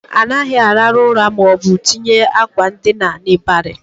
Anaghị arahu ura maọbụ tinye akwa ndina n'ịbarị